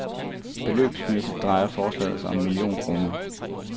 Beløbsmæssigt drejer forslaget sig om en million kroner.